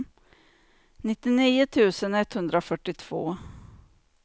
nittionio tusen etthundrafyrtiotvå